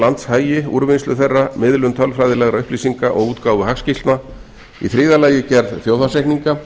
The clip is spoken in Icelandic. landshagi úrvinnslu þeirra miðlun tölfræðilegra upplýsinga og útgáfu hagskýrslna þriðja gerð þjóðhagsreikninga